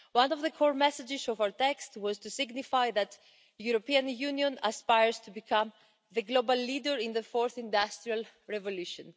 One of the core messages of our text was to signify that the European Union aspires to become the global leader in the fourth industrial revolution.